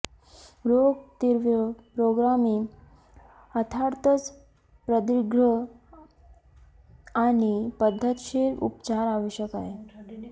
रोग तीव्र पुरोगामी अर्थातच प्रदीर्घ आणि पद्धतशीर उपचार आवश्यक आहे